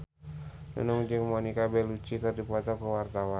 Nunung jeung Monica Belluci keur dipoto ku wartawan